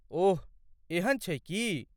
ओह, एहन छै की?